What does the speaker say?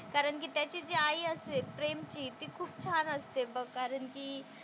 कारण की त्याची जी आई असते प्रेमची ती खूप छान असते बघ कारण की,